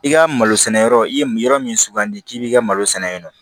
I ka malo sɛnɛ yɔrɔ i ye yɔrɔ min sugandi k'i b'i ka malo sɛnɛ yen nɔ